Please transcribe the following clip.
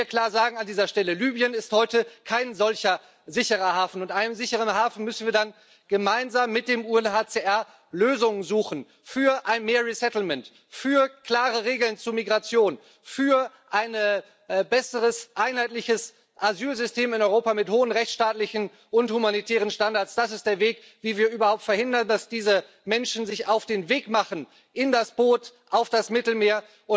Und ich will hier klar sagen an dieser Stelle Libyen ist heute kein solcher sicherer Hafen. Und neben einem sicheren Hafen müssen wir dann gemeinsam mit dem UNHCR Lösungen suchen für mehr für klare Regeln zur Migration, für ein besseres einheitliches Asylsystem in Europa mit hohen rechtsstaatlichen und humanitären Standards. Das ist der Weg, wie wir überhaupt verhindern, dass diese Menschen sich auf den Weg machen in das Boot, auf das Mittelmeer.